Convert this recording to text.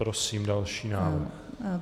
Prosím další návrh.